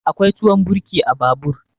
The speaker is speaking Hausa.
Akwai tuwon birki a babur.